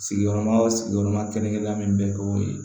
Sigiyɔrɔma o sigiyɔrɔma kelen min bɛ k'o ye